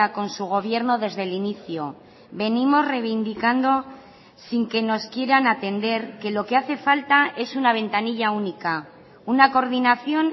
con su gobierno desde el inicio venimos reivindicando sin que nos quieran atender que lo que hace falta es una ventanilla única una coordinación